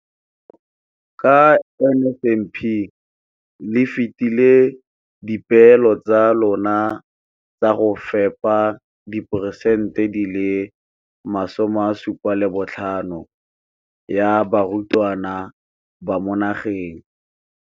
Ka NSNP le fetile dipeelo tsa lona tsa go fepa masome a supa le botlhano a diperesente ya barutwana ba mo nageng.